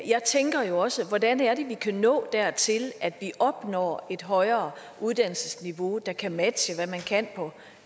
jeg tænker jo også hvordan vi kan nå dertil at vi opnår et højere uddannelsesniveau der kan matche hvad man kan på